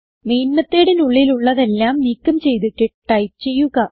main methodനുള്ളിലുള്ളതെല്ലാം നീക്കം ചെയ്തിട്ട് ടൈപ്പ് ചെയ്യുക